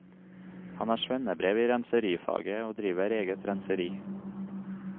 Han har svennebrev i renserifaget og driver eget renseri.